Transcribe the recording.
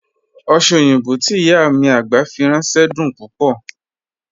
Oṣẹ́ oyinbọ́ tí ìyá agbá fi rànṣẹ̀ dún púpọ̀.